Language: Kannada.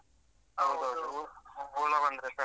ಹೌದೌದು ಹುಳ ಬಂದ್ರೆ ಕಷ್ಟ.